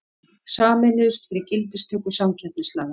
Sameinuðust fyrir gildistöku samkeppnislaga